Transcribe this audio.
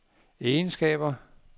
egenskaber